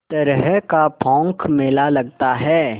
तरह का पोंख मेला लगता है